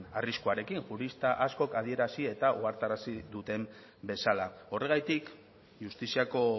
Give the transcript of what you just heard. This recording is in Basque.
arriskuarekin jurista askok adierazi eta ohartarazi duten bezala horregatik justiziako